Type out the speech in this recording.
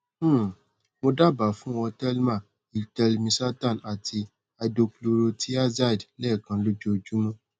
um mo daba fun ọ telma h telmisartan ati hydrochlorothiazide lẹẹkan lojoojumọ